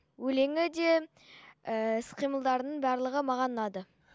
өлеңі де ііі іс қимылдарының барлығы маған ұнады